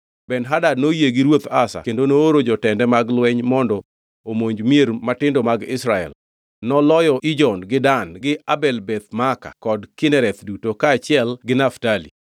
Ben-Hadad noyie gi ruoth Asa kendo nooro jotende mag lweny mondo omonj mier matindo mag Israel. Noloyo Ijon gi Dan gi Abel Beth Maaka kod Kinereth duto kaachiel gi Naftali.